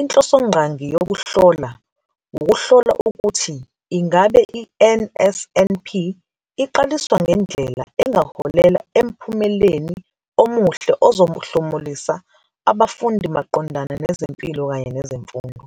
inhlosongqangi yokuhlola wukuhlola ukuthi ingabe i-NSNP iqaliswa ngendlela engaholela emphumeleni omuhle ozohlomulisa abafundi maqondana nezempilo kanye nezemfundo.